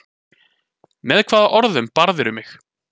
Með hvaða orðum barðirðu mig?